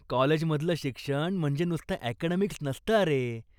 कॉलेजमधलं शिक्षण म्हणजे नुसतं अकॅडेमिक्स नसतं अरे.